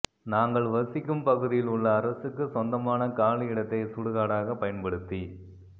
நாங்கள் வசிக்கும் பகுதியில் உள்ள அரசுக்கு சொந்தமான காலி இடத்தை சுடுகாடாக பயன்படுத்தி